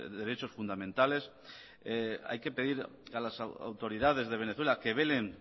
derechos fundamentales hay que pedir a las autoridades de venezuela que velen